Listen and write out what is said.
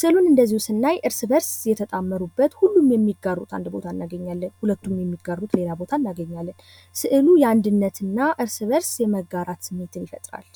ስዕሉን እነዚሁ ስናይ እርስ በርስ የተጣመሩበት ሁሉም የሚጋሩት አንድ ቦታ እናገኛለን። ሁለቱም የሚጋሩት ሌላ ቦታ እናገኛለን። ስዕሉ የአንድነትና እርስ በርስ የመጋራት ስሜት ይፈጥራል።